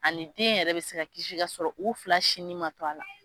Ani den yɛrɛ bɛ se ka kisi ka sɔrɔ u fila sin nin ma to a la.